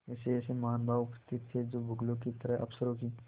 ऐसेऐसे महानुभाव उपस्थित थे जो बगुलों की तरह अफसरों की